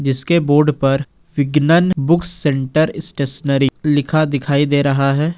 इसके बोर्ड पर Vignan book centre stationery लिखा दिखाई दे रहा है।